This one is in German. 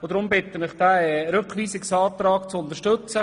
Deshalb bitte ich Sie, diesen Rückweisungsantrag zu unterstützen.